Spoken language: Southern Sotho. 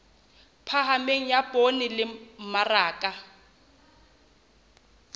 phahameng ya poone le mmaraka